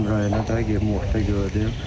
Getdim rayona da, gedim orda gördüm.